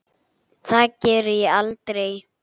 Það geri ég aldrei